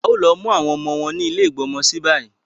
A ò lo mu àwọn ọmọ wa ni ile igbọ́mọsí bayi